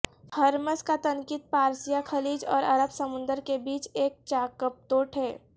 Hormuz کا تنقید پارسیہ خلیج اور عرب سمندر کے بیچ ایک چاکپتوٹ ہے